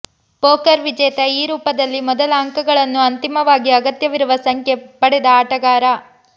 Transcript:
poker ವಿಜೇತ ಈ ರೂಪದಲ್ಲಿ ಮೊದಲ ಅಂಕಗಳನ್ನು ಅಂತಿಮವಾಗಿ ಅಗತ್ಯವಿರುವ ಸಂಖ್ಯೆ ಪಡೆದ ಆಟಗಾರ